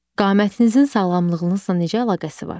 Qamətinizin sağlamlığınızla necə əlaqəsi var?